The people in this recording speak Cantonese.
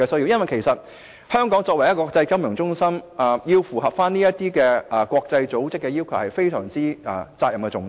因為香港作為國際金融中心，必須符合這些國際組織的要求，責任實在非常重大。